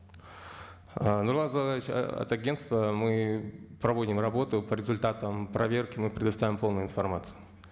ы нурлан зайроллаевич от агенства мы проводим работу по результатам проверки мы предоставим полную информацию